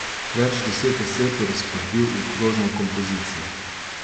Več deset oseb je razporedil v krožno kompozicijo.